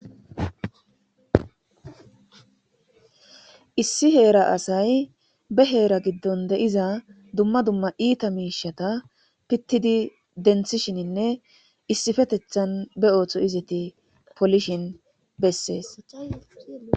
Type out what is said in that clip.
issi heera asay be heera giddon de7iza dumma dumma iita miishata pittidi denthishininne issifetethan be ooththo izati polishin bessees